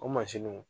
O mansinw